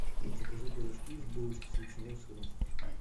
закажи пирожки и булочки с ветчиной и сыром